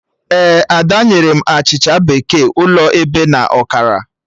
Ee, Ada nyere m achịcha bekee ụlọ ebe na ọkara